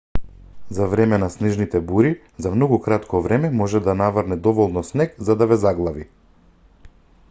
за време на снежните бури за многу кратко време може да наврне доволно снег за да ве заглави